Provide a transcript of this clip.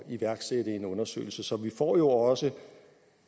iværksætte en undersøgelse så vi får jo også